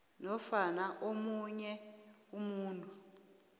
nofana omunye umuntu